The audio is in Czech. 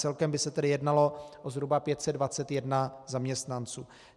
Celkem by se tedy jednalo o zhruba 521 zaměstnanců.